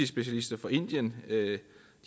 specialister fra indien